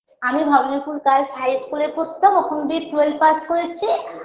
আমি ভবানীপুর গার্লস হাইস্কুলে পড়তাম ওখান দিয়ে twelve pass করেছি